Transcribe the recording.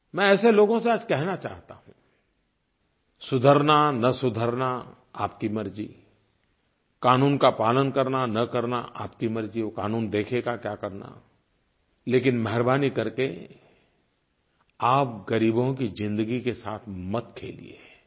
मैं ऐसे लोगों से आज कहना चाहता हूँ सुधरना न सुधरना आपकी मर्ज़ी क़ानून का पालन करना न करना आपकी मर्ज़ी वो क़ानून देखेगा क्या करना लेकिन मेहरबानी करके आप ग़रीबों की ज़िंदगी के साथ मत खेलिए